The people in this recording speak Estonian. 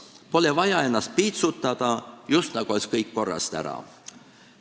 Pole vaja ennast piitsutada, just nagu oleks kõik korrast ära.